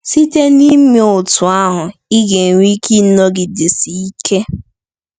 Site n’ime otú ahụ, ị ga-enwe ike ịnọgidesi ike.